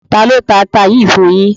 Tálọ tà àtà yìí fún yín?